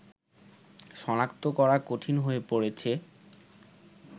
সনাক্তকরা কঠিন হয়ে পড়েছে